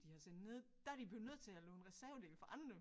De har sendt ned der er de blevet nødt til at låne reservedele fra andre